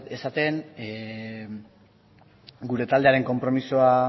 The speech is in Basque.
esaten gure taldearen konpromisoa